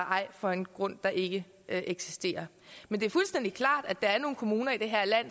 ej for en grund der ikke eksisterer men det er fuldstændig klart at der er nogle kommuner i det her land